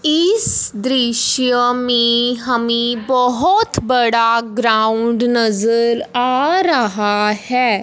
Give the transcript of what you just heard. इस दृश्य मे हमे बहोत बड़ा ग्राउंड नजर आ रहा है।